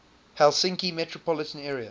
helsinki metropolitan area